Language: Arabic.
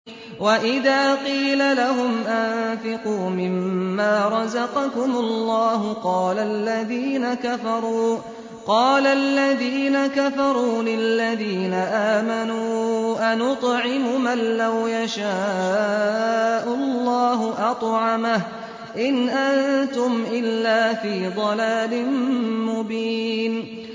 وَإِذَا قِيلَ لَهُمْ أَنفِقُوا مِمَّا رَزَقَكُمُ اللَّهُ قَالَ الَّذِينَ كَفَرُوا لِلَّذِينَ آمَنُوا أَنُطْعِمُ مَن لَّوْ يَشَاءُ اللَّهُ أَطْعَمَهُ إِنْ أَنتُمْ إِلَّا فِي ضَلَالٍ مُّبِينٍ